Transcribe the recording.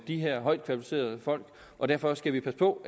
de her højt kvalificerede folk og derfor skal vi passe på